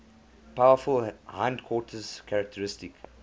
powerful hindquarters characteristic